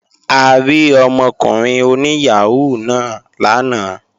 A rí ọmọkùnrin oní yàhóó náà lánàá